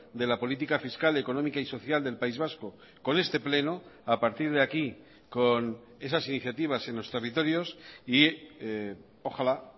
de la política fiscal económica y social del país vasco con este pleno a partir de aquí con esas iniciativas en los territorios y ojalá